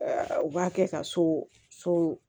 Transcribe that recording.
U b'a kɛ ka so so